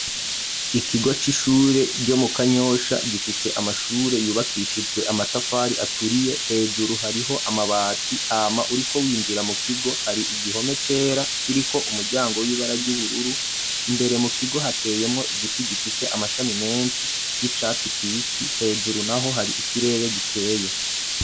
Ikigo c'ishure ryo mu kanyosha ,gifise amashure yubakishijwe amatafari aturiye, hejuru hariho amabati hama uriko winjira mu kigo hari igihome cera, kiri ko umuryango w'ibara ry'ubururu ,imbere mu kigo hateyemwo igiti gifise amashami menshi y'icatsi kibisi ,hejuru naho hari ikirere gikeye.